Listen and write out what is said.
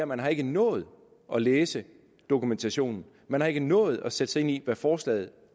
man har ikke nået at læse dokumentationen man har ikke nået at sætte sig ind i hvad forslaget